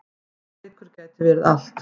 Þessi leikur gæti verið allt.